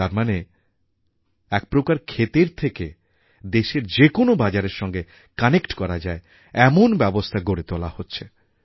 তার মানে একপ্রকার ক্ষেতের থেকে দেশের যে কোনও বাজারের সঙ্গে কানেক্ট করা যায় এমন ব্যবস্থা গড়ে তোলা হচ্ছে